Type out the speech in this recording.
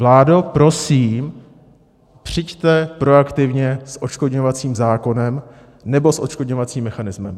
Vládo, prosím, přijďte proaktivně s odškodňovacím zákonem nebo s odškodňovacím mechanismem.